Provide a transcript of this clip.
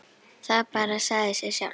Það bara sagði sig sjálft.